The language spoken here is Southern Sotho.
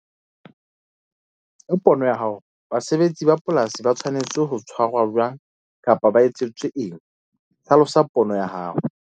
Ka pono ya hao basebetsi ba polasi ba tshwanetse ho tshwarwa jwang kapa ba etsetswe eng? Hlalosa pono ya hao.